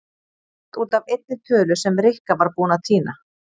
Allt út af einni tölu sem Rikka var búin að týna.